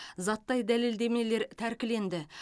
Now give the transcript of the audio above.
заттай дәлелдемелер тәркіленді